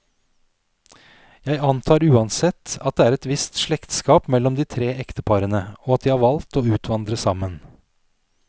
Jeg antar uansett, at det er et visst slektskap mellom de tre ekteparene, og at de har valgt å utvandre sammen.